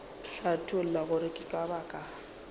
hlatholla gore ke ka baka